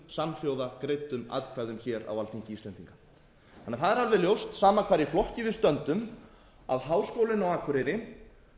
samhljóða greiddum atkvæðum á alþingi íslendinga það er alveg ljóst sama hvar í flokki við stöndum að háskólinn á akureyri